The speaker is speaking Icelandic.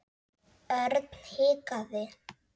Örn hikaði.